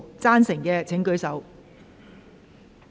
贊成的請舉手。